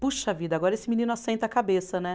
Puxa vida, agora esse menino assenta a cabeça, né?